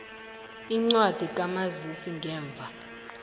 incwadi kamazisi ngemva